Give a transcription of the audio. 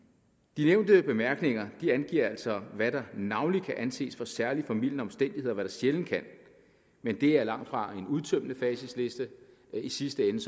de nævnte bemærkninger angiver altså hvad der navnlig kan anses for særlig formildende omstændigheder og hvad der sjældent kan men det er langtfra en udtømmende facitliste i sidste ende